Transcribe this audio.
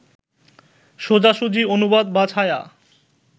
সোজাসুজি অনুবাদ বা ছায়া